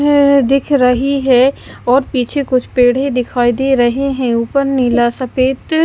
हह दिख रही है और पीछे कुछ पेड़े दिखाई दे रहे हैं ऊपर नीला सफेद--